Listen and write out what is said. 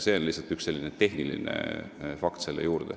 See on lihtsalt üks tehniline fakt selle teema juurde.